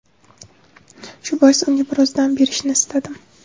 Shu bois unga biroz dam berishni istadim.